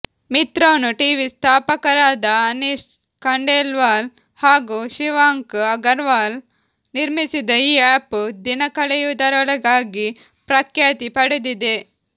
Mitron TV ಸ್ಥಾಪಕರಾದ ಅನಿಷ್ ಖಂಡೇಲ್ವಾಲ್ ಹಾಗೂ ಶಿವಾಂಕ್ ಅಗರ್ವಾಲ್ ನಿರ್ಮಿಸಿದ ಈ ಆ್ಯಪ್ ದಿನಕಳೆಯುವುದರೊಳಗಾಗಿ ಪ್ರಖ್ಯಾತಿ ಪಡೆದಿದೆ